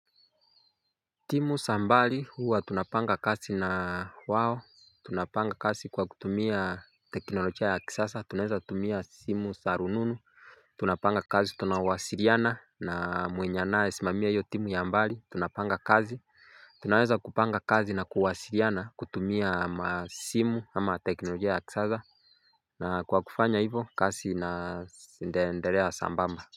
Timu za mbali huwa tunapanga kazi na wao tunapanga kazi kwa kutumia teknolojia ya kisasa tunaeza tumia simu za rununu. Tunapanga kazi tunawasiliana na mwenye anayesimamia hiyo timu ya mbali tunapanga kasi. Tunaeza kupanga kazi na kuwasiliana kutumia simu ama teknolojia ya kisasa. Na kwa kufanya hivo kazi inaendelea sambamba. Kwa hivyo.